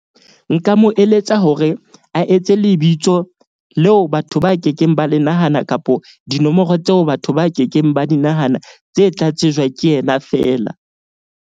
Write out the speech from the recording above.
Nka mo eletsa hore a etse lebitso leo batho ba kekeng ba le nahana kapo, dinomoro tseo batho ba kekeng ba di nahana, tse tla tsejwa ke yena fela.